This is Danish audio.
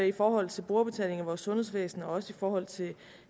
i forhold til brugerbetaling i vores sundhedsvæsen og også i forhold til